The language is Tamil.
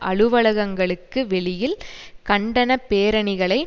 அலுவலகங்களுக்கு வெளியில் கண்டன பேரணிகளை